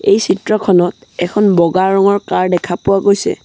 এই চিত্ৰখনত এখন বগা ৰঙৰ কাৰ দেখা পোৱা গৈছে।